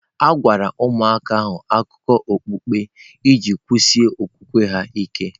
A gwara ụmụaka ahụ akụkọ okpukpe iji wusie okwukwe ha ike.